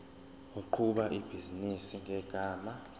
oqhuba ibhizinisi ngegama